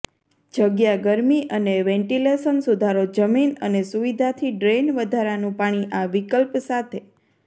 જગ્યા ગરમી અને વેન્ટિલેશન સુધારો જમીન અને સુવિધાથી ડ્રેઇન વધારાનું પાણી આ વિકલ્પ સાથે